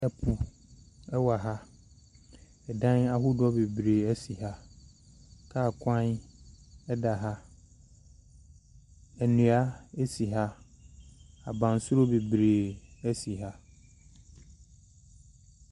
Ɛpo ɛwɔ ha, ɛdan ahodoɔ bebree ɛsan si ha. Kaa kwan ɛda ha. Nnua asi ha. Abansoro bebree asi ha.